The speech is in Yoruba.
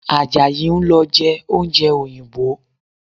Àjàyí ń lọ jẹ oúnjẹ òyìnbó